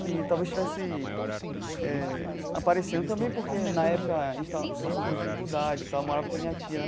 que talvez estivesse eh aparecendo também porque, na época, a gente estava passando por dificuldades e tal, eu morava com minha tia.